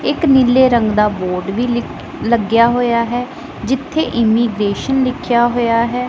ਇੱਕ ਨੀਲੇ ਰੰਗ ਦਾ ਬੋਰਡ ਵੀ ਲਿਕ ਲੱਗਿਆ ਹੋਯਾ ਹੈ ਜਿੱਥੇ ਇੰਮੀਗ੍ਰੇਸ਼ਨ ਲਿਖੇਆ ਹੋਯਾ ਹੈ।